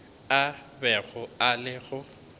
a bego a le go